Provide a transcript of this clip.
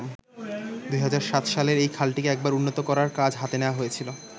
২০০৭ সালে এই খালটিকে একবার উন্নত করার কাজ হাতে নেওয়া হয়েছিলো।